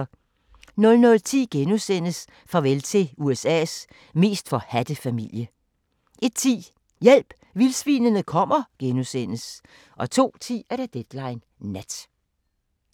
00:10: Farvel til USA's mest forhadte familie * 01:10: Hjælp, vildsvinene kommer * 02:10: Deadline Nat